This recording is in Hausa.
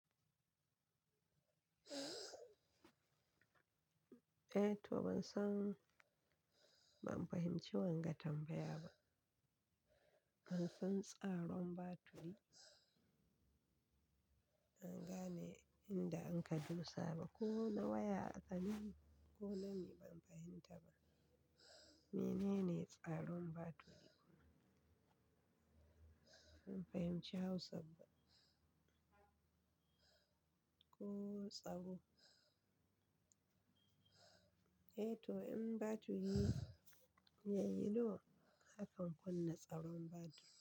Eh to ban san, ban fahimci wanga tambaya ba. Ban san tsaron batiri naga ne inda anka dosa ba. Ko na waya akabi ko na me, ban fahimta ba. Mene ne tsaron batiri? Ban fahimci Hausa ba. Ko tsaro? Eh to in batiri yayi do, akan kunna tsaron batiri.